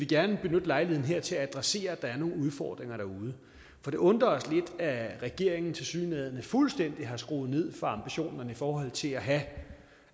gerne benytte lejligheden her til at adressere at der er nogle udfordringer derude for det undrer os lidt at regeringen tilsyneladende fuldstændig har skruet ned for ambitionerne i forhold til at have